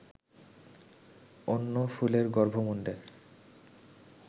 অন্য ফুলের গর্ভমুণ্ডে